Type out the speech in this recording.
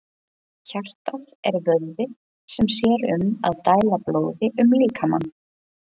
Hjartað er vöðvi sem sér um að dæla blóði um líkamann.